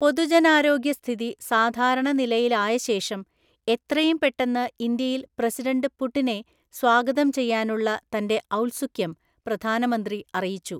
പൊതുജനാരോഗ്യസ്ഥിതി സാധാരണ നിലയിലായശേഷം, എത്രയും പെട്ടെന്ന്ഇന്ത്യയില്‍ പ്രസിഡന്റ് പുടിനെ സ്വാഗതം ചെയ്യാനുള്ള തന്റെ ഔത്സുക്യം പ്രധാനമന്ത്രി അറിയിച്ചു.